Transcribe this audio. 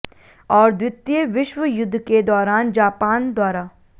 और द्वितीय विश्व युद्ध के दौरान जापान द्वारा